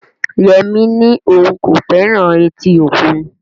Yemi ní òun kò fẹ́ràn etí òkun